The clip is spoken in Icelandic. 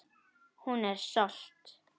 Hún er stolt.